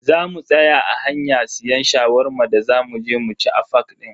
Zamu tsaya a hanya siyan Shawarma da za muje mu ci a fak din.